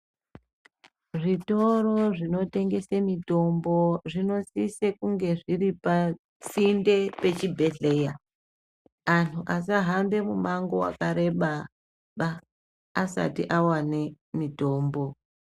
Zvitoro zvinotengese mitombo zvinosise kunge zviri pasinde pechibhehleya. Anhu asahambe mumango wakareba ba asati awane mitombo.